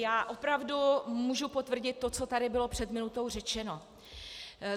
Já opravdu mohu potvrdit to, co tady bylo před minutou řečeno.